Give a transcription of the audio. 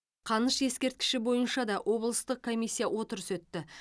қаныш ескерткіші бойынша да облыстық комиссияның отырысы өтті